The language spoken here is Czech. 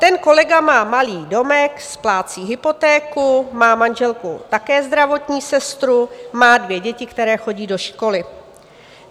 Ten kolega má malý domek, splácí hypotéku, má manželku také zdravotní sestru, má dvě děti, které chodí do školy.